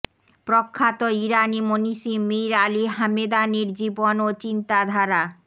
প্রখ্যাত ইরানি মনীষী মির আলী হামেদানির জীবন ও চিন্তাধারা